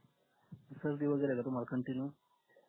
सर्दी वैगेरे का तुम्हाला continue